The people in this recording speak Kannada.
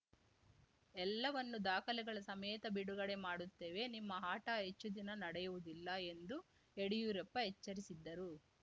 ಎಲ್ಲವನ್ನು ದಾಖಲೆಗಳ ಸಮೇತ ಬಿಡುಗಡೆ ಮಾಡುತ್ತೇವೆ ನಿಮ್ಮ ಆಟ ಹೆಚ್ಚು ದಿನ ನಡೆಯುವುದಿಲ್ಲ ಎಂದು ಯಡಿಯೂರಪ್ಪ ಎಚ್ಚರಿಸಿದ್ದರು